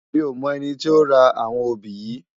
Mi ó mò èni ti ó rá áwòn óbi yi